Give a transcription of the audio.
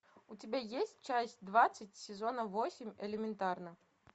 у тебя есть часть двадцать сезона восемь элементарно